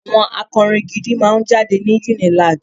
àwọn akọrin gidi máà ń jáde ní UNILAG